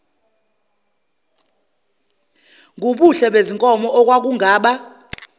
ngubuhle bezinkomo okwakungaba